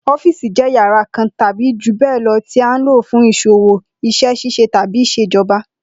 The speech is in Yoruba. Ó̩fiìsì jé̩ yàrá kan tàbí jù bé̩è̩ lo̩ tí à ń lò fún ìs̩òwò, is̩é̩ s̩ís̩e tàbí ìs̩èjo̩ba